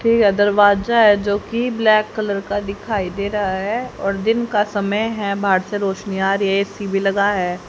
ठीक है दरवाजा है जोकि ब्लैक कलर का दिखाई दे रहा है और दिन का समय है बाहर से रोशनी आ रही है ए_सी भी लगा है।